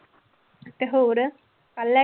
ਤੇ ਹੋਰ ਲੈ